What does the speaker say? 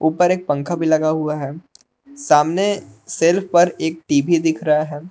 ऊपर एक पंखा भी लगा हुआ है सामने शेल्फ पर एक टी_वी दिख रहा है।